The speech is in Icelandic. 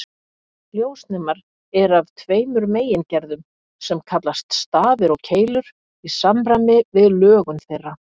Ljósnemar eru af tveimur megingerðum sem kallast stafir og keilur í samræmi við lögun þeirra.